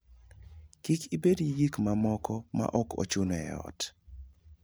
Kik ibed gi gik mamoko ma ok ochuno e ot.